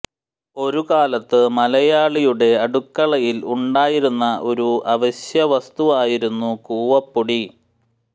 ഒരു കാലത്തു മലയാളിയുടെ അടുക്കളയിൽ ഉണ്ടായിരുന്ന ഒരു അവശ്യ വസ്തു ആയിരുന്നു കൂവപ്പൊടി